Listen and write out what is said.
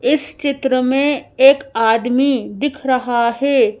इस चित्र में एक आदमी दिख रहा है।